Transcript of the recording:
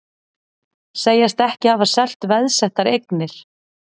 Segjast ekki hafa selt veðsettar eignir